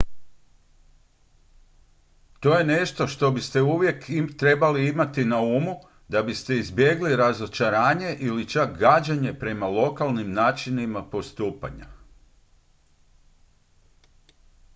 to je nešto što biste uvijek trebali imati na umu da biste izbjegli razočaranje ili čak gađenje prema lokalnim načinima postupanja